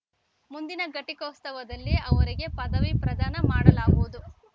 ಮುಂದಿನ ಘಟಿಕೋತ್ಸವದಲ್ಲಿ ಅವರಿಗೆ ಪದವಿ ಪ್ರದಾನ ಮಾಡಲಾಗುವುದು